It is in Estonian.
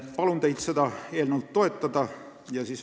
Palun teid seda eelnõu toetada!